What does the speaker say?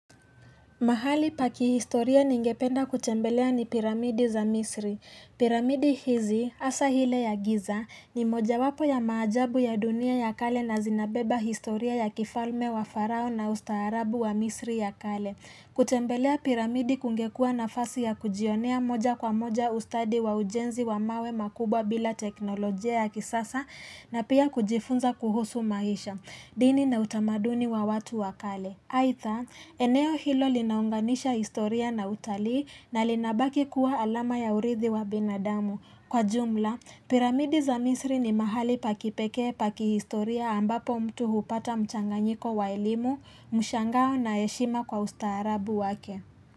Mahali paki historia ningependa kutembelea ni piramidi za misri. Piramidi hizi, hasa ile ya giza, ni moja wapo ya maajabu ya dunia ya kale na zinabeba historia ya kifalme wa farao na ustaharabu wa misri ya kale. Kutembelea piramidi kungekua nafasi ya kujionea moja kwa moja ustadi wa ujenzi wa mawe makubwa bila teknolojia ya kisasa na pia kujifunza kuhusu maisha. Dini na utamaduni wa watu wa kale. Aidha, eneo hilo linaunganisha historia na utali na linabaki kuwa alama ya urithi wa binadamu. Kwa jumla, piramidi za misri ni mahali pa kipekee pa kihistoria ambapo mtu hupata mchanganyiko wa elimu, mshangao na heshima kwa ustaarabu wake.